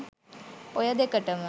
ඔය දෙකටම